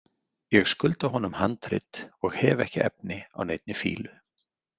Ég skulda honum handrit og hef ekki efni á neinni fýlu.